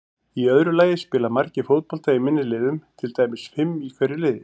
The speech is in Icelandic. Í öðru lagi spila margir fótbolta í minni liðum, til dæmis fimm í hverju liði.